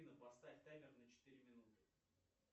поставь таймер на четыре минуты